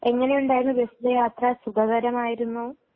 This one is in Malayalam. എങ്ങനെ ഉണ്ടായിരുന്നു ബസിലെ യാത്ര സുഖകരമായിരുന്നോ?